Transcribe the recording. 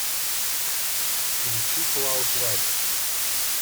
включи клаудлайт